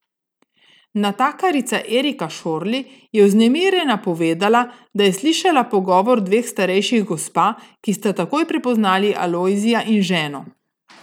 Natakarica Erika Šorli je vznemirjena povedala, da je slišala pogovor dveh starejših gospa, ki sta takoj prepoznali Alojzija in ženo.